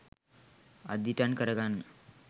අදිටන් කරගන්න.